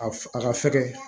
A a ka fɛgɛ